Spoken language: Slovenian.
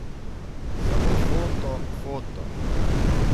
Samo foto, foto.